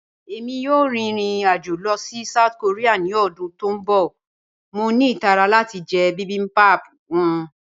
Ẹ̀mi yòò rín irin-ajo lọ sí South Korea ni ọdún tó n bọ̀, mọ̀ ní itàrà láti jẹ̀ bibimbap wọn.